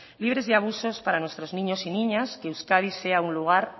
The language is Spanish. libres de abusos para nuestros niños y niñas que euskadi sea un lugar